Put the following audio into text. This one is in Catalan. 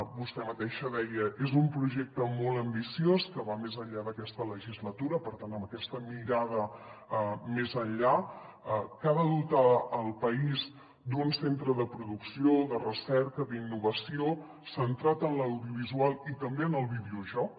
vostè mateixa deia és un projecte molt ambiciós que va més enllà d’aquesta legislatura per tant amb aquesta mirada més enllà que ha de dotar el país d’un centre de producció de recerca d’innovació centrat en l’audiovisual i també en el videojoc